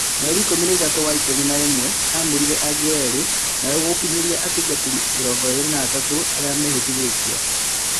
Mweri ikũmi na-ithatũ wa-ikũmi na-ĩmwe amũrire angĩ erĩ naũguo gũkinyanĩria atungatĩri mĩrongoĩrĩ na-atatu arĩa mehĩtithĩtio.